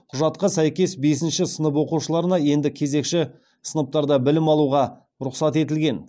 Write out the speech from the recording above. құжатқа сәйкес бесінші сынып оқушыларына енді кезекші сыныптарда білім алуға рұқсат етілген